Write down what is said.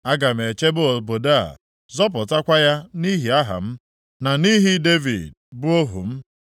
“Aga m echebe obodo a, zọpụtakwa ya nʼihi aha m, na nʼihi Devid, bụ ohu m.”